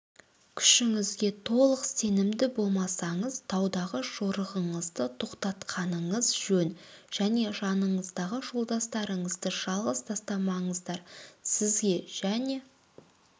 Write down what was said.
күшіңізге толық сенімді болмасаңыз таудағы жорығыңызды тоқтатқаныңыз жөн және жаныңыздағы жолдастарыңызды жалғыз тастамаңыздар сізге және